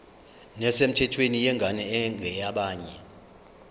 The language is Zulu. nesemthethweni yengane engeyabanye